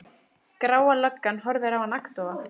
Gráa löggan horfir á hann agndofa.